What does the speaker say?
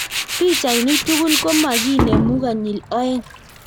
Pichainik tugul komakinemuu konyil oeng